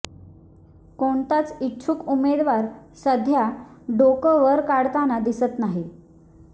कोणताच इच्छुक उमेदवार सध्या डोकं वर काढताना दिसत नाही